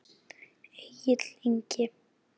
Egill Ingi.